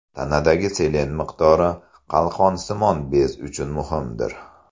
Tanadagi selen miqdori – qalqonsimon bez uchun muhimdir.